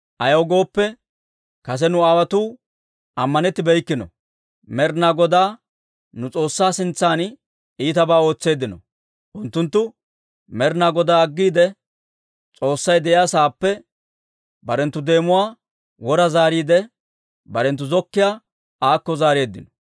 Ayaw gooppe, kase nu aawotuu ammanettibeykkino; Med'inaa Godaa nu S'oossaa sintsan iitabaa ootseeddino. Unttunttu Med'inaa Godaa aggiide, S'oossay de'iyaa sa'aappe barenttu deemuwaa wora zaariide, barenttu zokkiiyaa aakko zaareeddino.